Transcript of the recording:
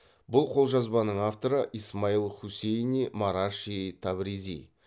бұл қолжазбаның авторы исмаил хусейни мараши табризи